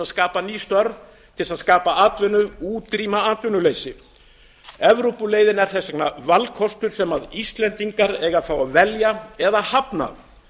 skapa ný störf og útrýma atvinnuleysi evrópuleiðin er þess vegna valkostur sem íslendingar eiga að fá að velja eða hafna